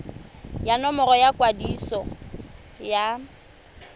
ya nomoro ya kwadiso ya